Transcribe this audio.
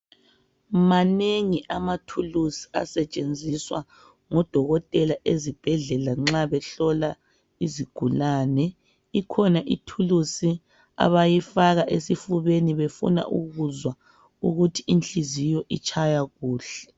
Manengi amathuluzi asetshenziswa ngodokotela ezibhedlela nxa behlola izigulane ikhona ithulusi abayifaka esifubeni befuna ukuzwa ukuthi inhliziyo itshaya kuhle .